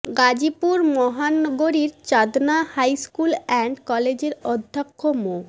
গাজীপুর মহানগরীর Chandna high school and কলেজের অধ্যক্ষ মো